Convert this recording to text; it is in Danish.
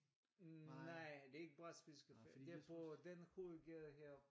Hm nej det er ikke brætspilscaféen det er på den hovedgade heroppe